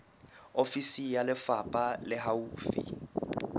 ofisi ya lefapha le haufi